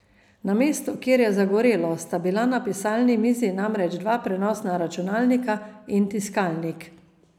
Na mestu, kjer je zagorelo, sta bila na pisalni mizi namreč dva prenosna računalnika in tiskalnik.